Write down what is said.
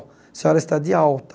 A senhora está de alta.